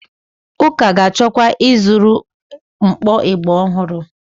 Ụka ga-achọkwa ịzụrụ mkpọ ịgbà ọhụrụ.